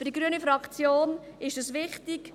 Für die Fraktion Grüne ist wichtig: